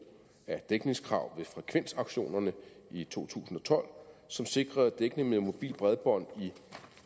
af dækningskrav ved frekvensauktionerne i to tusind og tolv som sikrede dækningen med mobilt bredbånd i